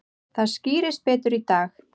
Það skýrist betur í dag.